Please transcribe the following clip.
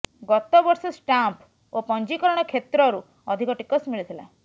ଗତବର୍ଷ ଷ୍ଟାମ୍ପ ଓ ପଞ୍ଜିକରଣ କ୍ଷେତ୍ରରୁ ଅଧିକ ଟିକସ ମିଳିଥିଲା